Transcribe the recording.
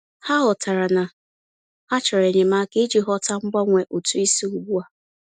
Ha ghọtara na ha chọrọ enyemaka iji ghọta mgbanwe ụtụ isi ugbu a.